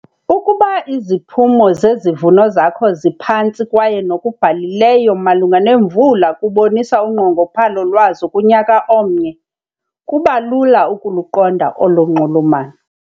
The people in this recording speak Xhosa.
Ukuba iziphumo zezivuno zakho ziphantsi kwaye nokubhalileyo malunga neemvula kubonisa unqongophalo lwazo kunyaka omnye, kuba lula ukuluqonda olo nxulumano.